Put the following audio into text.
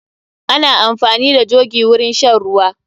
Ana amfani da jogi wurin shan ruwa.